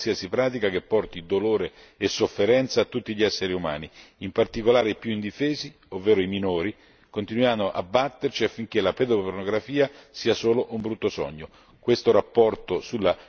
Oggi vogliamo dire basta a qualsiasi pratica che porti dolore e sofferenza a tutti gli esseri umani, in particolare i più indifesi, ovvero i minori, continuando a batterci affinché la pedopornografia sia solo un brutto sogno.